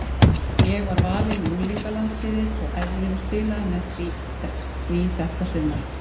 Ég var valinn í unglingalandsliðið og æfði og spilaði með því þetta sumar.